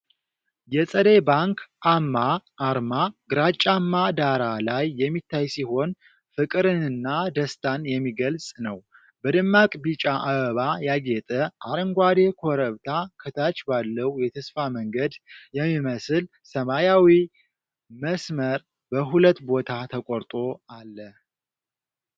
የፀደይ ባንክ አ.ማ አርማ ግራጫማ ዳራ ላይ የሚታይ ሲሆን፣ ፍቅርንና ደስታን የሚገልጽ ነው። በደማቅ ቢጫ አበባ ያጌጠ አረንጓዴ ኮረብታ ከታች ባለው የተስፋ መንገድ የሚመስል ሰማያዊ መስመር በሁለት ቦታ ተቆርጦ አለ።